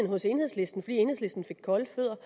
hos enhedslisten fordi enhedslisten fik kolde fødder